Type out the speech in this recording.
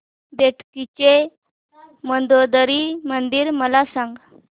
बेटकी चे मंदोदरी मंदिर मला सांग